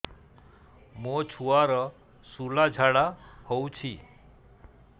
ମୋ ଛୁଆର ସୁଳା ଝାଡ଼ା ହଉଚି